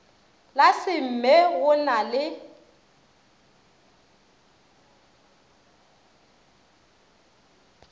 la smme go na le